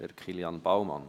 Zuerst Kilian Baumann.